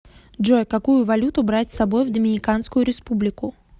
джой какую валюту брать с собой в доминиканскую республику